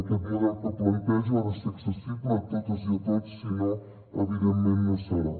aquest model que plantejo ha de ser accessible a totes i a tots sinó evidentment no serà